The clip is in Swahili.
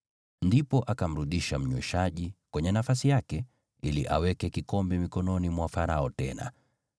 Ndipo akamrudisha mnyweshaji mkuu kwenye nafasi yake, ili aweke kikombe mikononi mwa Farao tena,